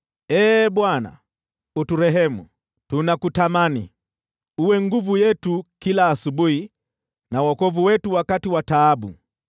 Ee Bwana , uturehemu, tunakutamani. Uwe nguvu yetu kila asubuhi na wokovu wetu wakati wa taabu.